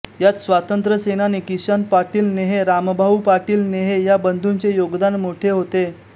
यात स्वातंत्र्यसेनानी किसन पाटील नेहे रामभाऊ पाटील नेहे या बंधूचे योगदान मोठे होते